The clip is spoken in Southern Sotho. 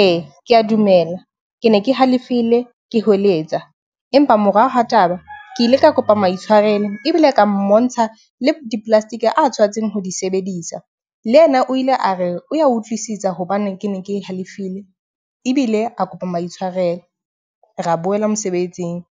ee, ke a dumela ke ne ke halefile ke hweletsa. Empa moraoha taba ke ile ka kopa maitshwarelo ebile e ka mmontsha le di-plastic a tshwanetseng ho di sebedisa. Le yena o ile a re o ya utlwisisa hobaneng ke ne ke halefile ebile a kopa maitshwarelo re boela mosebetsing.